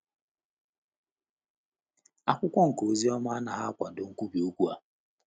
Akụkọ nke Oziọma anaghị akwado nkwubi okwu a.